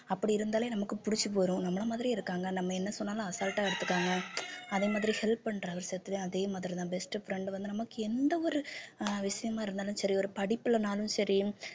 அப்படி இருந்தாலே நமக்கு பிடிச்சு போயிரும் நம்மளை மாதிரியே இருக்காங்க நம்ம என்ன சொன்னாலும் அசால்ட்டா எடுத்துக்கறாங்க அதே மாதிரி help பண்ற விஷயத்திலயும் அதே மாதிரிதான் best friend வந்து நமக்கு எந்த ஒரு விஷயமா இருந்தாலும் சரி ஒரு படிப்பிலன்னாலும் சரி